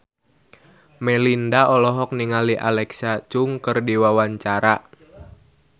Melinda olohok ningali Alexa Chung keur diwawancara